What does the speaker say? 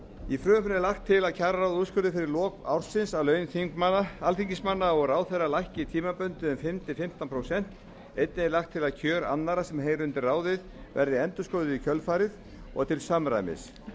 í frumvarpinu er lagt til að kjararáð úrskurði fyrir lok ársins að laun alþingismanna og ráðherra lækki tímabundið um fimm til fimmtán prósent einnig er lagt til að kjör annarra sem heyri undir ráðið verði endurskoðuð í kjölfarið og til samræmis